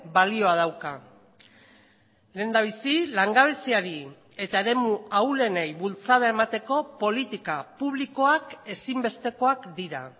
balioa dauka lehendabizi langabeziari eta eremu ahulenei bultzada emateko politika publikoak ezinbestekoak dira